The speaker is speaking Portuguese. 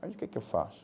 aí o que é que eu faço?